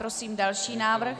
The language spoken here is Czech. Prosím další návrh.